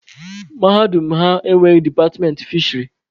Mahadum ha enweghị departmentị fisheri.